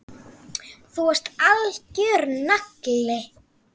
Þú varst algjör nagli.